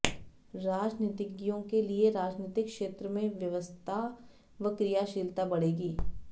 राजनीतिज्ञों के लिए राजनीतिक क्षेत्र में ब्यस्तता व क्रियीलता बढ़ेगी